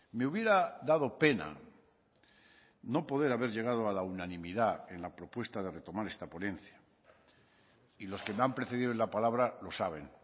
me hubiera dado pena no poder haber llegado a la unanimidad en la propuesta de retomar esta ponencia y los que me han precedido en la palabra lo saben